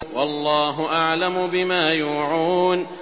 وَاللَّهُ أَعْلَمُ بِمَا يُوعُونَ